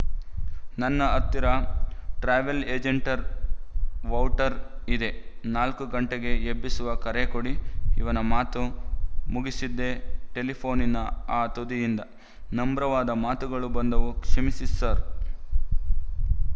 ನನ್ನ ಹತ್ತಿರ ಟ್ರೆವಲ್ ಏಜೆಂಟರ ವೌವ್ಚರ್ ಇದೆ ನಾಲ್ಕು ಗಂಟೆಗೆ ಎಬ್ಬಿಸುವ ಕರೆ ಕೊಡಿ ಇವನ ಮಾತು ಮುಗಿಸಿದ್ದೇ ಟೆಲಿಫೋ ನಿನ ಆ ತುದಿಯಿಂದ ನಮ್ರವಾದ ಮಾತುಗಳು ಬಂದುವು ಕ್ಷಮಿಸಿ ಸರ್